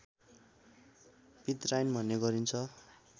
पितराइन भन्ने गरिन्छ